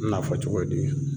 Na fɔ cogo di